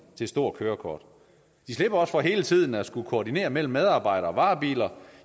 til stort kørekort de slipper også for hele tiden at skulle koordinere det mellem medarbejdere og varebiler